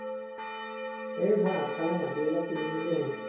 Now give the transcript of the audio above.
এৰ মই আগফালে মাটি অলপ কিনিম বুলি ভাবিছো